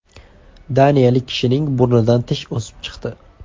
Daniyalik kishining burnidan tish o‘sib chiqdi.